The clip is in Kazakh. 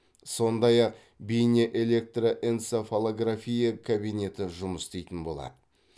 сондай ақ бейне электроэнцефалография кабинеті жұмыс істейтін болады